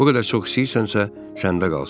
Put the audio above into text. Bu qədər çox istəyirsənsə, səndə qalsın.